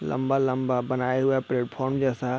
लम्बा-लम्बा बनाया हुआ है प्लेटफार्म जैसा--